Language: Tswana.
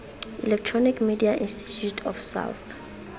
electronic media institute of south